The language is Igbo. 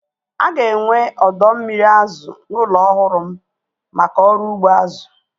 Aga enwe ọdọ mmiri azụ n'ụlọ ọhụrụ m maka ọrụ ugbo azụ